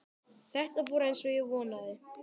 Þetta fór eins og ég vonaði